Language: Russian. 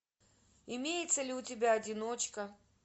имеется ли у тебя одиночка